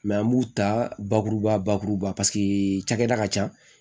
an b'u ta bakuruba bakuruba paseke cɛda ka can